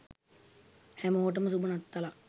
හැමෝටම සුබ නත්තලක්